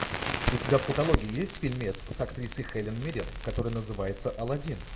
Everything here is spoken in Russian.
у тебя в каталоге есть фильмец с актрисой хелен миррен который называется алладин